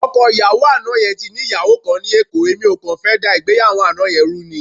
Ọkọ ìyàwó àná yẹn ti ní ìyàwó kan ní Èkó, èmi ò kàn fẹ́ dá ìgbéyàwó àná yẹn rú ni.